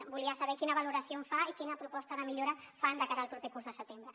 volia saber quina valoració en fa i quina proposta de millora fan de cara al proper curs al setembre